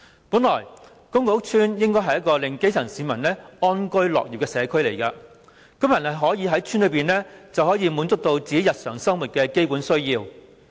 本來，公共屋邨應該是一個令基層市民安居樂業的社區，居民可以在邨內滿足日常生活的基本需要。